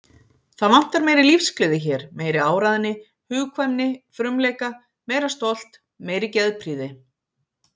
Það vantar meiri lífsgleði hér, meiri áræðni, hugkvæmni, frumleika, meira stolt, meiri geðprýði.